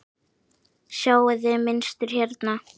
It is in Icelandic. Sjáiði mynstur hérna?